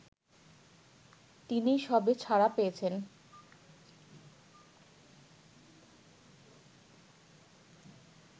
তিনি সবে ছাড়া পেয়েছেন